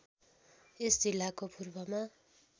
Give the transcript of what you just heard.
यस जिल्लाको पूर्वमा